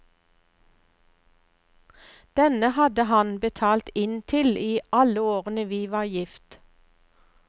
Denne hadde han betalt inn til i alle årene vi var gift.